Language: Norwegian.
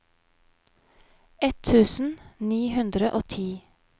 ett tusen ni hundre og ti